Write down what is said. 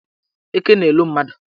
Eke na-elo mmadụ.